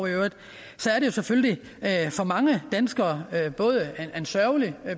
så er det jo selvfølgelig for mange danskere en sørgelig